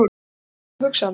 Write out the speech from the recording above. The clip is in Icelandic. Það er eiginlega óhugsandi.